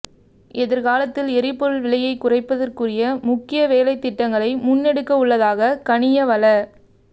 எதிர்காலத்தில் எரிபொருள் விலையை குறைப்பதற்குரிய முக்கிய வேலைத்திட்டங்களை முன்னெடுக்கவுள்ளதாக கனிய வள